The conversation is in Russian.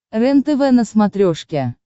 рентв на смотрешке